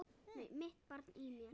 Mitt barn í mér.